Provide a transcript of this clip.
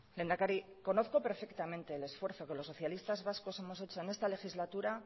lehendakari conozco perfectamente el esfuerzo que los socialistas vascos hemos hecho en esta legislatura